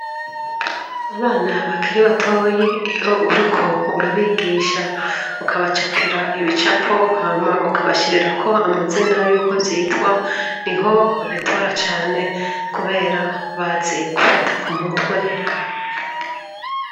Abana bakiri batoyi iyo uriko urabigisha, ukabacapira ibicapo hama ukabashirirako amazina y'uko vyitwa niho babitora cane kubera bazi gufata ku mutwe.